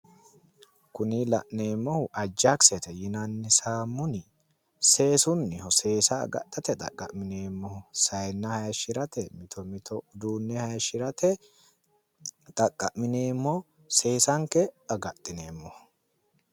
Kuni la'neemmohu ajakisete yinanni saamuni seesunniho. seesa agadhate xaqqa'mineemmoho saayinna haayishirate, mito mito uduunne haayishirate xaqqa'mineemmo seesanke agadhineemmoho.